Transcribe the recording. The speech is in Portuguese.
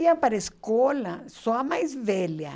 Iam para a escola, só a mais velha.